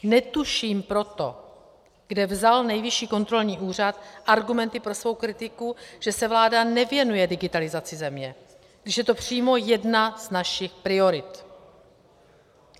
Netuším proto, kde vzal Nejvyšší kontrolní úřad argumenty pro svou kritiku, že se vláda nevěnuje digitalizaci země, když je to přímo jedna z našich priorit.